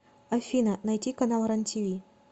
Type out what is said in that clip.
афина найти канал рен тиви